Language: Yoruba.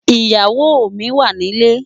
Iyáwó mi wá nilé